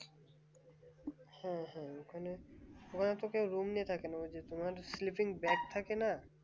হম হম ওখানে সবাই তো room নিয়ে থাকে না। ওই যে তোমার sleeping bag থাকে না